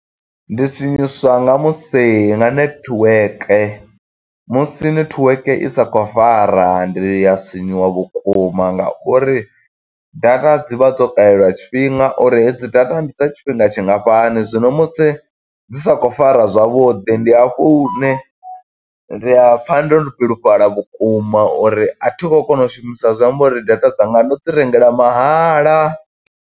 Ndi sinyiswa nga musi, nga netiweke. Musi netiweke i sa khou fara ndi ya sinyuwa vhukuma nga uri data dzi vha dzo kalelwa tshifhinga, uri hedzi data ndi dza tshifhinga tshingafhani. Zwino musi dzi sa khou fara zwavhuḓi, ndi hafhu hune ndi a pfa ndo bilufhala vhukuma, uri a thi khou kona u shumisa zwi amba uri data dzanga ndo dzi rengela mahala.